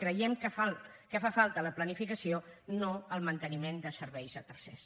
creiem que fa falta la planificació no el manteniment de serveis a tercers